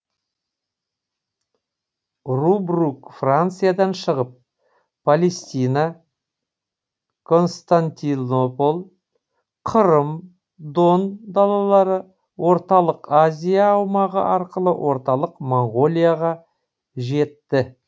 рубрук франциядан шығып палестина константинополь қырым дон далалары орталық азия аумағы арқылы орталық моңғолияға жетті